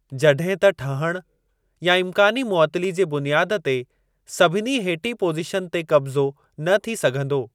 जॾहिं त ठहणु या इम्कानी मुअतली जे बुनियादु ते सभिनी हेठीं पोज़ीशन ते क़ब्ज़ो न थी सघिंदो।